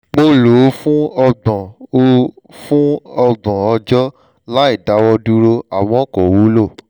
mo lò ó fún ọgbọ̀n ó fún ọgbọ̀n ọjọ́ láìdáwọ́dúró àmọ́ kò wúlò